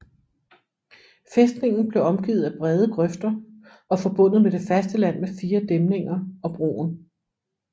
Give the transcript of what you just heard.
Fæstningen blev omgivet af brede grøfter og forbundet med det faste land med fire dæmninger og broer